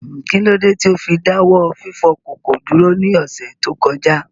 Kí ló dé tí ó fi dá wọ́ fífọ ìkòkò dúró ní ọ̀sẹ̀ tó kọjá?